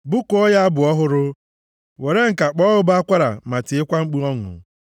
Bụkuonụ ya abụ ọhụrụ; were ǹka kpọọ ụbọ akwara ma tiekwa mkpu ọṅụ.